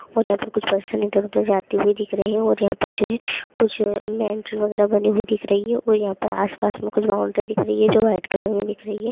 जाते हुए दिख रही है और यहां पर जो है कुछ मेंटल वगैरा बनी हुई दिख रही है और यहां पर आसपास में कुछ बाउंड्री दिख रही है जो वाइट कलर में दिख रही है|